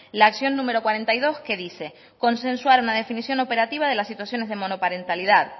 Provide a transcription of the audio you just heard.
la acción número cuarenta y dos que dice consensuar una definición operativa de las situaciones de monoparentalidad